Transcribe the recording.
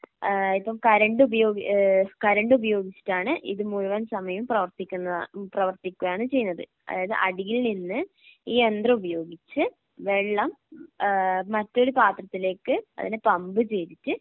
ഏഹ് ഇപ്പം കറണ്ട് ഉപയോഗി ഏഹ് കരണ്ട് ഉപയോഗിച്ചിട്ടാണ് ഇത് മുഴുവൻ സമയവും പ്രവർത്തിക്കുന്നത പ്രവർത്തിക്കുകയാണ് ചെയ്യുന്നത് അതായത് അടിയിൽനിന്ന് ഈ യന്ത്രം ഉപയോഗിച്ച് വെള്ളം ഏഹ് മറ്റൊരു പാത്രത്തിലേക്ക് അതിനെ പമ്പ് ചെയ്തിട്ട്